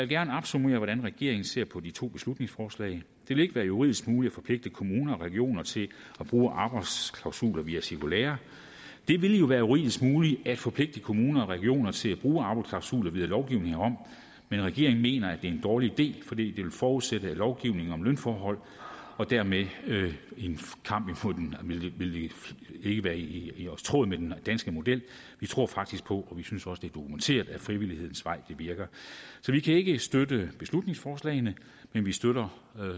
gerne opsummere hvordan regeringen ser på de to beslutningsforslag det vil ikke være juridisk muligt at forpligte kommuner og regioner til at bruge arbejdsklausuler via cirkulærer det ville jo være juridisk muligt at forpligte kommuner og regioner til at bruge arbejdsklausuler via lovgivning herom men regeringen mener at det er en dårlig idé fordi det vil forudsætte lovgivning om lønforhold og dermed ville det ikke være i tråd med den danske model vi tror faktisk på og vi synes også det er dokumenteret at frivillighedens vej virker så vi kan ikke støtte beslutningsforslagene men vi støtter